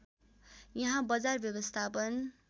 यहाँ बजार व्यवस्थापन